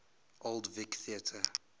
old vic theatre